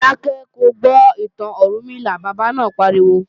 Dákẹ́ ko gbọ́ ìtàn Ọ̀rúnmìlà, bàbá náà pariwo!